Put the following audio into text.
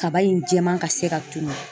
Kaba in jɛman ka se ka tunun